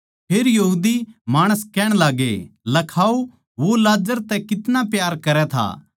फेर माणस कहण लाग्गे लखाओ वो लाजर तै कितना प्यार करै था